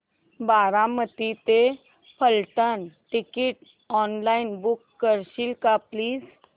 बारामती ते Phaltan ticket online book करशील का प्लीज